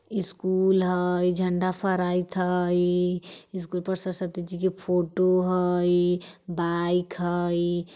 स्कूल हई झण्डा फहराइत हई स्कूल पर सरस्वती जी के फोटो हई बाइक हई।